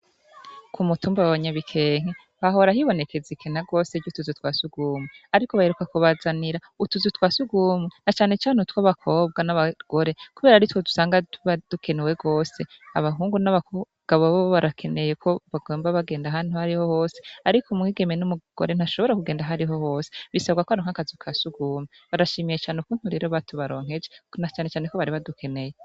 K'umutumba wanyabikenke hahora hibonekeza ubukene bw'utuzu twasugwumwe ariko baheruka kubazanira utuzu twasugwumwe nacanecane utwabakobwa n'abagore kuberako aritwo usanga tuba dukenewe gose. Abahungu n'abagabo bobo barakeneye kobaguma bagenda ahantu aharihohose; ariko umwigeme n'umugore ntibashobora kugenda aharihohose bisabwa kwaronka akazu kasugwumwe. Barashimiye ukuntu rero batubaronkeje nacanecane kobari badukeneye.